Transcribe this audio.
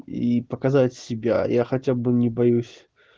и показать себя я хотя бы не боюсь